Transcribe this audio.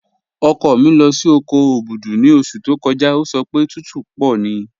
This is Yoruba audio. Ọkọ mi lọ sí oko Obudu ni ọṣù tó kọ́jà, o sọ pé tùtù púpọ̀ ní